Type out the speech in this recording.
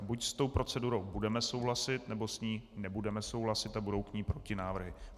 A buď s tou procedurou budeme souhlasit, nebo s ní nebudeme souhlasit a budou k ní protinávrhy.